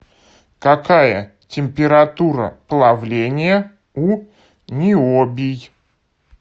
какая температура плавления у ниобий